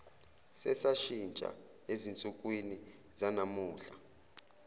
sesashintsha ezinsukwini zanamuhla